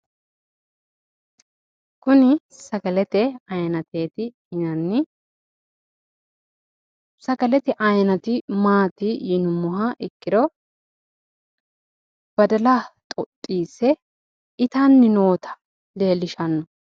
Kuni sagalete ayiinateeti yinanni, sagalete ayiinati maati yinummoha ikkiro badala xoxxiisse itanni noota leellishanno.